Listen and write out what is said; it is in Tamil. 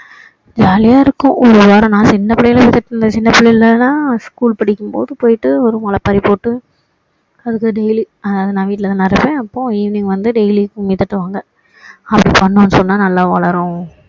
jolly யா இருக்கும் ஒரு வாரம் நான் சின்ன பிள்ளையில எல்லாம் சின்ன பிள்ளையில எல்லாம் school படிக்கும் போது போயிட்டு ஒரு முளைப்பாறி போட்டு அதுக்கு daily நான் வீட்டுல தானே இருப்போன் அப்போ evening வந்து daily கும்மி தட்டுவாங்க அப்படி பண்ணோம்னு சொன்னா நல்லா வளரும்